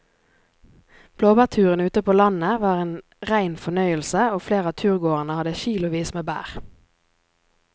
Blåbærturen ute på landet var en rein fornøyelse og flere av turgåerene hadde kilosvis med bær.